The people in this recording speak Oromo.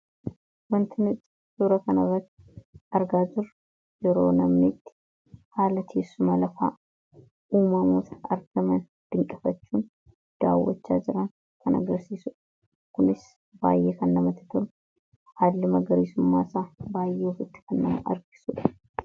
Waanti nuti suuraa tana irratti argaa jirru yeroo namni itti haala teessuma lafaa uummataa argaman dinqifachuun daawwachaa jiran kan agarsiisu kunis baay'ee kan namatti tolu haalli magariisummaa isaa baay'ee ofitti kan nama harkisudha.